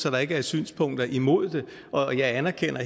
at der ikke er synspunkter imod det og jeg anerkender